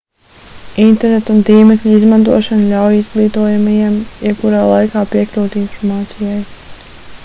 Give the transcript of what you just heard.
interneta un tīmekļa izmantošana ļauj izglītojamajiem jebkurā laikā piekļūt informācijai